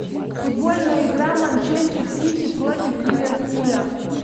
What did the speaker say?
футбольная игра манчестер сити против ливерпуля